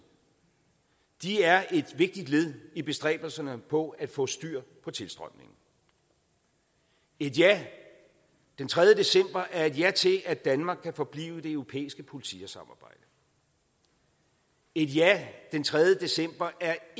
de er et vigtigt led i bestræbelserne på at få styr på tilstrømningen et ja den tredje december er et ja til at danmark kan forblive i det europæiske politisamarbejde et ja den tredje december er